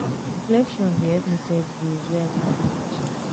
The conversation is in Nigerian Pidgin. reflection dey help me set goals wey i go fit achieve.